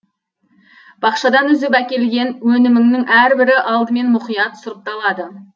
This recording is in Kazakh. бақшадан үзіп әкелінген өнімнің әрбірі алдымен мұқият сұрыпталады